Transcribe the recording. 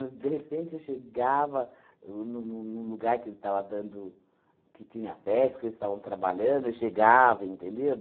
De repente, eu chegava o num num num lugar que estava dando, que tinha festa, que eles estavam trabalhando, eu chegava, entendeu?